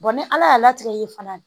ni ala y'a latigɛ ye fana